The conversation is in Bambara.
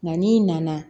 Nka n'i nana